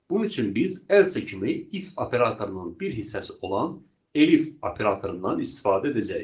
Bunun üçün biz else kimi if operatorunun bir hissəsi olan elif operatorundan istifadə edəcəyik.